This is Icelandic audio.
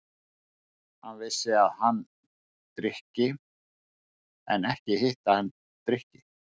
Hann vissi að hann drykki- en ekki hitt, að hann drykki.